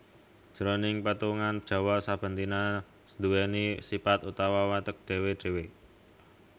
Jroning petungan Jawa saben dina nduwèni sipat utawa watek dhéwé dhéwé